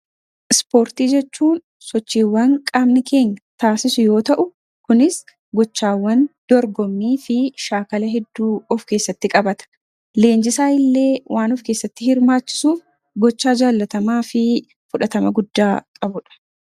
Ispoortii jechuun sochiiwwan qaamni keenya taasisu yoo ta'u kunis gochaawwan dorgommii fi shaakala hedduu of keessatti qabata. Leenjisaa illee waan of keessatti hirmaachisuuf gochaa jaallatamaa fi fudhatama guddaa qabudha.